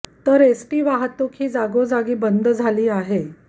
तर एसटी वाहतूक ही जागोजागी बंद झाली आहे